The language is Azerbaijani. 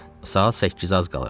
Saat 8-ə az qalırdı.